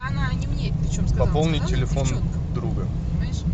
пополнить телефон друга